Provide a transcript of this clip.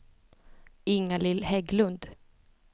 Ingalill Hägglund